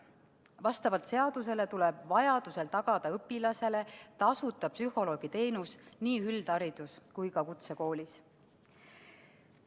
Vastavalt seadusele tuleb vajaduse korral tagada õpilasele tasuta psühholoogiteenus nii üldharidus- kui ka kutsekoolis.